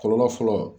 Kɔlɔlɔ fɔlɔ